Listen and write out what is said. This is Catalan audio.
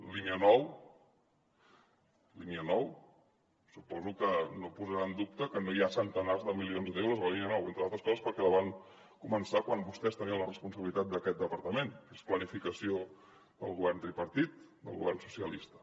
línia nou línia nou suposo que no posarà en dubte que no hi ha centenars de milions d’euros a la línia nou entre altres coses perquè la van començar quan vostès tenien la responsabilitat d’aquest departament que és planificació del govern tripartit del govern socialista